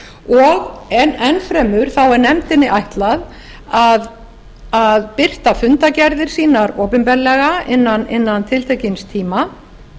og enn fremur er nefndinni ætlað að birta fundargerðir sínar opinberlega innan tiltekins tíma